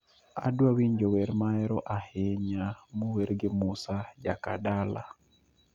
Adwaro winjo wer mahero ahinya mower gi musa jakadala